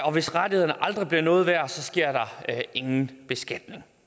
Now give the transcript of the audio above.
og hvis rettighederne aldrig bliver noget værd sker der ingen beskatning